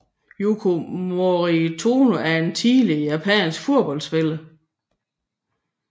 Yuko Morimoto er en tidligere japansk fodboldspiller